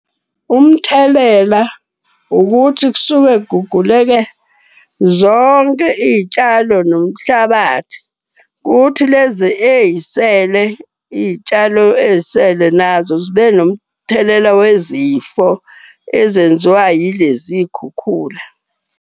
Umthelela ukuthi kusuke kuguguleke zonke iy'tshalo nomhlabathi. Kuthi lezi ey'sele iy'tshalo ezisele, nazo zibe nomthelela wezifo ezenziwa yilezi iy'khukhula.